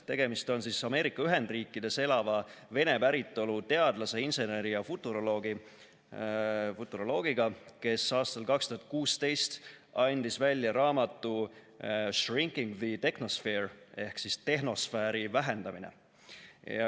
Tegemist on Ameerika Ühendriikides elava vene päritolu teadlase, inseneri ja futuroloogiga, kes aastal 2016 andis välja raamatu "Shrinking the Technosphere" ehk "Tehnosfääri vähendamine".